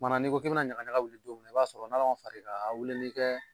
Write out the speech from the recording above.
Kumana n'i ko k'i bena ɲagaɲaga wuli don mni i b'a sɔrɔ n'ala ma far'i kan a wuli bi kɛ